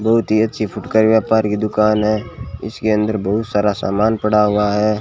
बहुत ही अच्छी फुटकर व्यापार की दुकान है इसके अंदर बहुत सारा सामान पड़ा हुआ है।